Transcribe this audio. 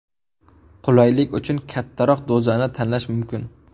Qulaylik uchun kattaroq dozani tanlash mumkin.